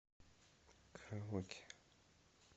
караоке